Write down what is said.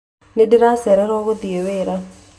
Nĩndacererwo guthiĩ wĩra